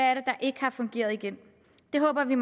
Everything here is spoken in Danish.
er der ikke har fungeret i den det håber vi